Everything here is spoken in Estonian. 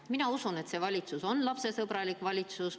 Mina usun, et see valitsus on lapsesõbralik valitsus.